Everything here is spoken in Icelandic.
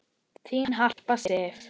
Þín Harpa Sif.